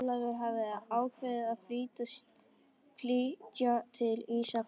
Ólafur hefðu ákveðið að flytja til Ísafjarðar.